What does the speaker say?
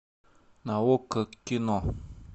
на окко кино